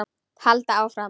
Halda áfram.